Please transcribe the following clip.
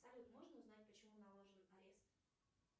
салют можно узнать почему наложен арест